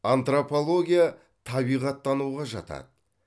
антропология табиғаттануға жатады